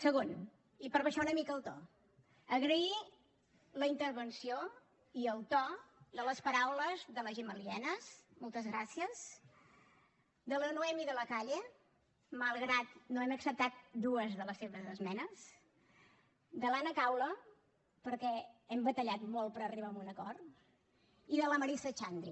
segon i per abaixar una mica el to agrair la intervenció i el to de les paraules de la gemma lienas moltes gràcies de la noemí de la calle malgrat que no hem acceptat dues de les seves esmenes de l’anna caula perquè hem batallat molt per arribar a un acord i de la marisa xandri